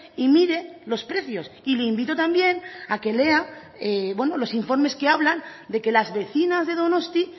y mire los precios y le invito también a que lea los informes que hablan de que las vecinas de donosti